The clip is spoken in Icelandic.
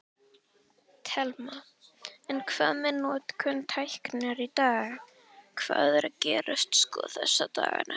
Telma: En hvað með notkun tækninnar í dag, hvað er að gerast sko þessa dagana?